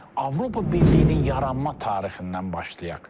Avropa Birliyinin yaranma tarixindən başlayaq.